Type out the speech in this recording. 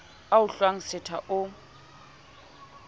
a o hlwang setha o